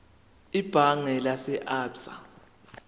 ebhange lase absa